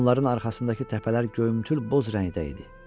Onların arxasındakı təpələr göyümtül boz rəngdə idi.